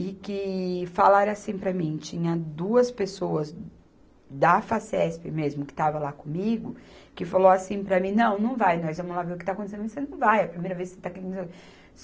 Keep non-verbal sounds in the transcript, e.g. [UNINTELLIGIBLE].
E que falaram assim para mim, tinha duas pessoas da Facesp mesmo, que estava lá comigo, que falou assim para mim, não, não vai, nós vamos lá ver o que está acontecendo, você não vai, é a primeira vez que você está aqui. [UNINTELLIGIBLE]